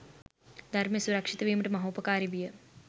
ධර්මය සුරක්‍ෂිත වීමට මහෝපකාරී විය.